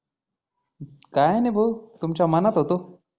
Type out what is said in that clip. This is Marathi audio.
काही नाही भाऊ तुमच्या मनात होतो.